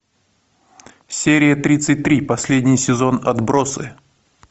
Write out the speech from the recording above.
серия тридцать три последний сезон отбросы